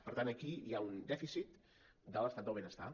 per tant aquí hi ha un dèficit de l’estat del benestar